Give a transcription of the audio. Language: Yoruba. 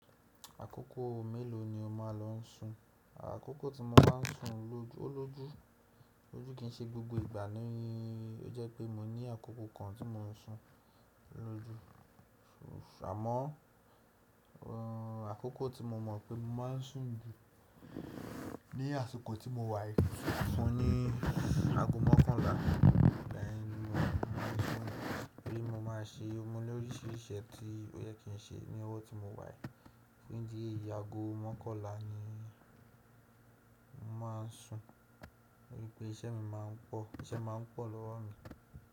Àkókò mélòó ni o máa ló ń sùn? Àkókò tí mo bá ń sùn lóju, ó lójú. Lójú kì í ṣe gbogbo ìgbà ní, ó jẹ́ pé mo ní àkókò kan tí mo ń sùn lójú. Àmọ́ àkókò tí mo mọ̀ pé mo má ń sùn jù ni àsìkò tí mo wàì. Mo ní ago mọ́kànlá lẹ́yin náà mo má ń sùn. Torí mo máa ṣe ọmọ ní oríṣiríṣi iṣẹ́ tí ó yẹ kí n ṣe ní ọwọ́ tí mo wàì. Ni di eyì ago mọ́kànlá ni mo má ń sùn. Torí pé iṣẹ́ mi má ń pọ̀, iṣẹ́ má ń pọ̀ lọ́wọ́ mi.